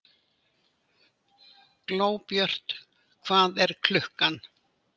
Glóbjört, hvað er klukkan?